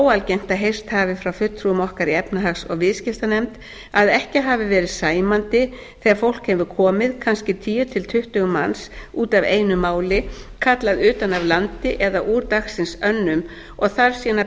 óalgengt að heyrst hafi frá fulltrúum okkar í efnahags og viðskiptanefnd að ekki hafi verið sæmandi þegar fólk hefur komið kannski tíu til tuttugu manns út af einu máli kallað utan af landi eða úr dagsins önnum og þarf síðan að